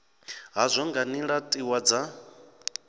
hazwo nga nila tiwa dza